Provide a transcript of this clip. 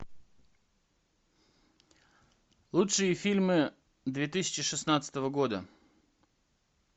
лучшие фильмы две тысячи шестнадцатого года